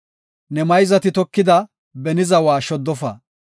Ne mayzati tokida beni zawa shoddofa.